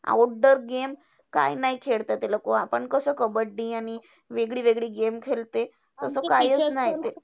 Outdoor game काय नाही खेळते ते लोकं. आपण कसं कबड्डी आणि वेगळी वेगळी game खेळते. तर तो कायचं नाही.